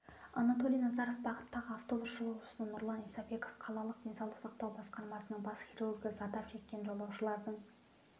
анатолий назаров бағыттағы автобус жолаушысы нұрлан исабеков қалалық денсаулық сақтау басқармасының бас хирургі зардап шеккен жолаушылардың